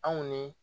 Anw ni